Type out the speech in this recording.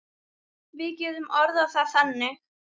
Við getum orðað það þannig.